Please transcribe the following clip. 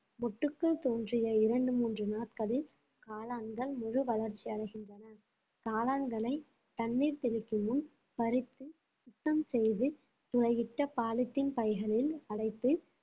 மொட்டுக்கள் தோன்றிய இரண்டு மூன்று நாட்களில் காளான்கள் முழு வளர்ச்சி அடைகின்றன காளான்களை தண்ணீர் தெளிக்கும் முன் பறித்து சுத்தம் செய்து துளையிட்ட பாலித்தீன் பைகளில் அடைத்து